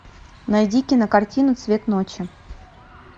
найди кинокартину цвет ночи